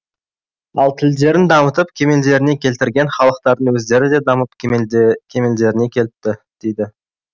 ал тілдерін дамытып кемелдеріне келтірген халықтардың өздері де дамып кемелдеріне келіпті дейді